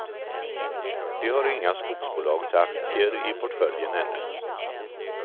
De har inga skogsbolagsaktier i portföljen ännu.